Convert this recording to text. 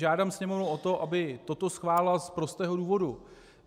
Žádám Sněmovnu o to, aby toto schválila, z prostého důvodu.